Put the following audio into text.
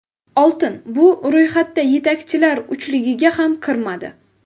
Oltin bu ro‘yxatda yetakchilar uchligiga ham kirmadi.